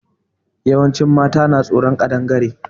Yawancin mata na tsoron Ƙadangare.